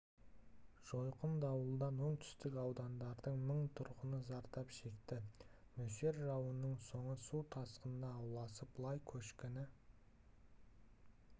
жойқын дауылдан оңтүстік аудандардың мың тұрғыны зардап шекті нөсер жауынның соңы су тасқынына ұласып лай көшкіні